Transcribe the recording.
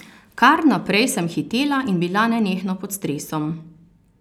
Kar naprej sem hitela in bila nenehno pod stresom.